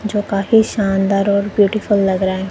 जो काफी शानदार और ब्यूटीफुल लग रहा है।